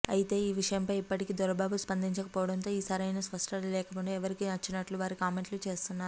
అయితే ఈ విషయంపై ఇప్పటికీ దొరబాబు స్పందించకపోవడంతో తో సరైన స్పష్టత లేకుండా ఎవరికి నచ్చినట్లు వారి కామెంట్లు చేస్తున్నారు